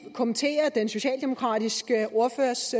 kommentere den socialdemokratiske ordførers